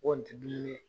O tɛ bilen